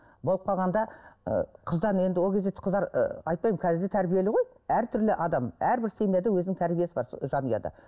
болып қалғанда ы қыздан енді ол кезде қыздар ы айтпаймын қазір де тәрбиелі ғой әртүрлі адам әрбір семьяда өзінің тәрбиесі бар жанұяда